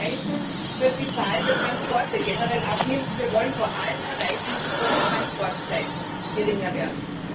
Wir wollen erreichen, dass die Zahl der Transporte generell abnimmt, und wir wollen vor allem erreichen, dass die Transportzeiten kürzer werden.